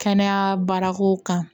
Kɛnɛya baarakow kan